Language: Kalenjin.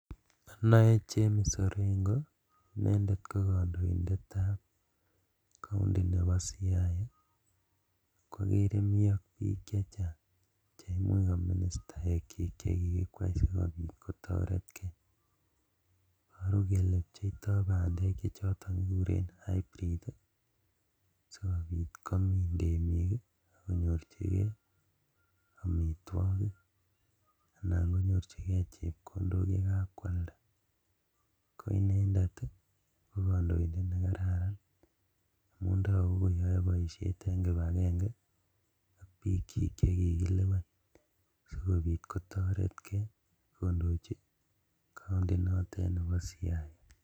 Ono James Orengo inendet ko kondoindetab county nebo Siaya okwokere mi ak bik chechang cheimuch ko ministaekyi chekikikwai sikobit kotoret kee iboru kele cheptoi bandek chechoton kekuren hybrid ii sikobit komin temik ak konyorjigee omitwogik anan konyorjigee chepkondok ye kakwalda ko inendet ko kondoindet nekararan, amun toku koyoe boishet en kipagenge ak bikchik chekikilewen sikobit kotoretkee kondoji county notet nebo Siaya.